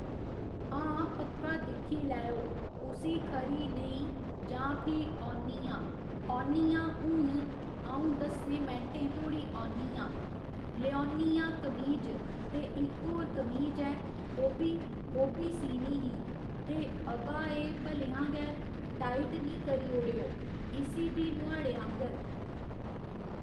हां पक्का दिक्खी लैओ उसी खरी नेईं जां फ्ही औन्नी आं औन्नी आं हून अ'ऊं दस्सें मैंटें धोड़ी औन्नी आं लेओन्नी हां कमीज ते इक होर कमीज ऐ ओह्बी ओह्बी सीनी ही ते अबा एह् भलेआं गै टाइट निं करी ओडे़ओ इसी बी नुआढ़े आंह्गर